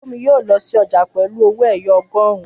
Fúnmi yóò lọ sí ọjà pẹ̀lú owó ẹyọ ọgọrun